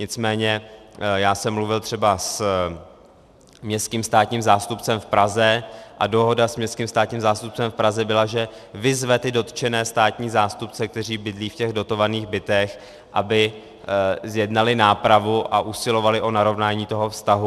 Nicméně já jsem mluvil třeba s městským státním zástupcem v Praze a dohoda s městským státním zástupcem v Praze byla, že vyzve ty dotčené státní zástupce, kteří bydlí v těch dotovaných bytech, aby zjednali nápravu a usilovali o narovnání toho vztahu.